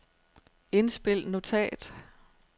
indspil notat